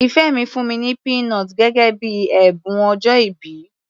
Ìfẹ́ mi fún mi ní peanut gẹ́gẹ́ bíi ẹ̀bùn ọjọ́ìbí.